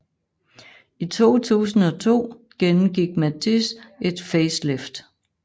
I 2002 gennemgik Matiz et facelift